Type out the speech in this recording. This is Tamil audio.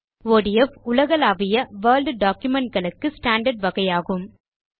ஒடிஎஃப் உலகளாவிய வோர்ட் டாக்குமென்ட் களுக்கு ஸ்டாண்டார்ட் வகையாகும்